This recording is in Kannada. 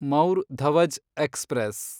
ಮೌರ್ ಧವಜ್ ಎಕ್ಸ್‌ಪ್ರೆಸ್